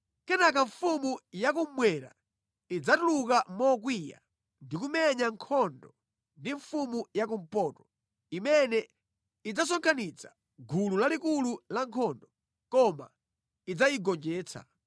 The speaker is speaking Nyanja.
“Kenaka mfumu yakummwera idzatuluka mokwiya ndi kumenya nkhondo ndi mfumu yakumpoto, imene idzasonkhanitsa gulu lalikulu la nkhondo, koma idzayigonjetsa.